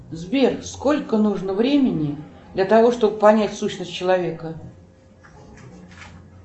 сбер сколько нужно времени для того чтобы понять сущность человека